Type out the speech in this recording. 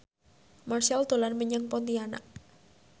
Marchell dolan menyang Pontianak